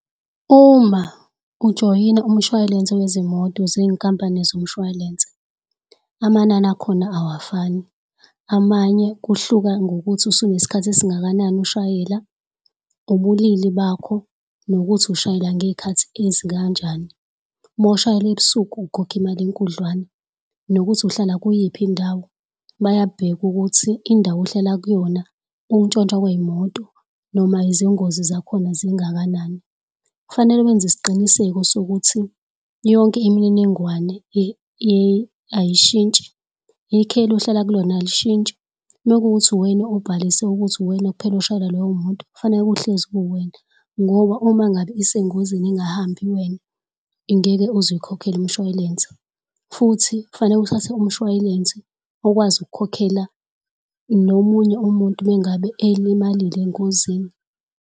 Uma ujoyina umshway'lense wezimoto zenkampani zomshwalense amanani akhona, awafani. Amanye kuhluka ngokuthi usuneskhathi esingakanani ushayela, ubulili bakho nokuthi ushayela ngey'khathi ezikanjani. Uma ushayela ebusuku ukhokha imali enkudlwana, nokuthi uhlala kuyiphi indawo. Bayabheka ukuthi indawo ohlala kuyona ukuntshontshwa kwey'moto noma izingozi zakhona zingakanani. Kufanele wenze isiqiniseko sokuthi yonke imininingwane ayishintshi ikheli ohlala kulona alishintshi. Mekuwukuthi uwena obhalise ukuthi uwena kuphela oshayela leyo moto kufaneke kuhlezi kuwena ngoba uma ngabe isengozini ingahambi wena, ingeke uzuy'khokhele umshwalense. Futhi kufaneke uthathe umshway'lensi okwazi ukukhokhela nomunye umuntu umengabe ey'limalile engozini.